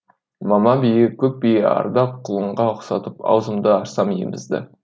мама бие көк бие арда құлынға ұқсатып аузымды ашсам емізді